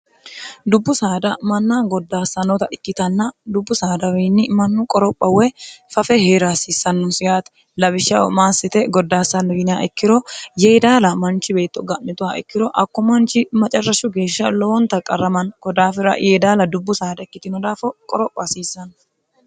dubbu saada manna goddaassannota ikkitanna dubbu saadawiinni mannu qoropha woy fafe hee'rihasiissannosihaati labishshao maassite goddaassannoyiniha ikkiro yee daala manchi beetto ga'mitoha ikkiro akko manchi macarrashshu geeshsha lowonta qarramanno godaafira yee daala dubbu saada ikkitino daafo qoropha hasiissanno